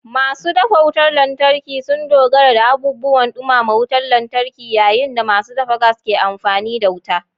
Masu dafa wutar lantarki sun dogara da abubuwan dumama wutar lantarki, yayin da masu dafa gas ke amfani da wuta.